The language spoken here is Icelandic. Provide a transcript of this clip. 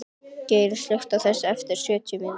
Geirrún, slökktu á þessu eftir sjötíu mínútur.